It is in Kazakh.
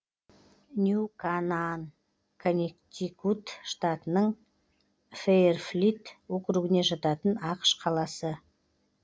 нью канаан коннектикут штатының фэйрфилд округіне жататын ақш қаласы